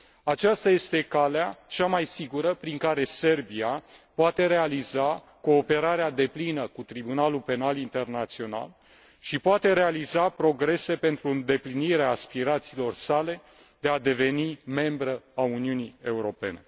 Aceasta este calea cea mai sigură prin care Serbia poate realiza cooperarea deplină cu Tribunalul Penal Internațional și poate realiza progrese pentru îndeplinirea aspirațiilor sale de a deveni membră a Uniunii Europene.